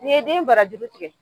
Nin ye den bara juru tigɛ